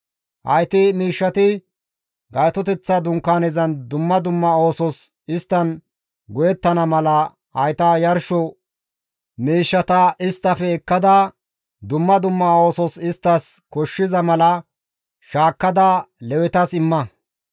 «Hayti miishshati Gaytoteththa Dunkaanezan dumma dumma oosos isttan go7ettana mala hayta yarsho miishshata isttafe ekkada, dumma dumma oosos isttas koshshiza mala shaakkada Lewetas imma.»